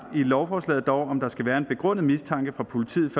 i lovforslaget om der skal være en begrundet mistanke fra politiets